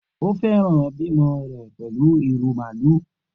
O fẹran bimo rẹ pẹlu iru maalu.